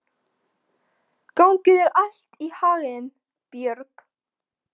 Gangi þér allt í haginn, Björg.